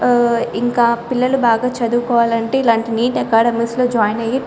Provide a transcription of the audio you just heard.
ఆ పిల్లలు చాలా బాగా చదువు కోవాలి అంటే ఇలాంటి నీట్ అకాడెమీస్ లో యిన్ అయి --.